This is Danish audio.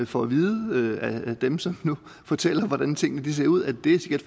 får at vide af dem som fortæller hvordan tingene ser ud at det sikkert